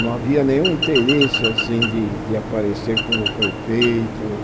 Não havia nenhum interesse assim de de aparecer como prefeito.